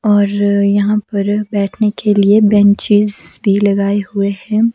और यहां पर बैठने के लिए बेंचेज भी लगाए हुए हैं।